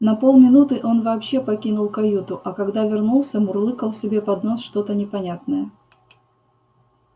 на полминуты он вообще покинул каюту а когда вернулся мурлыкал себе под нос что-то непонятное